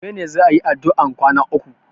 Gobe ne za a yi addu'an kwana uku.